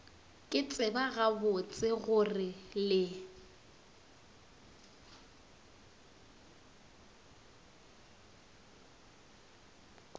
ke tseba gabotse gore le